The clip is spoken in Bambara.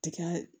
Tikɛ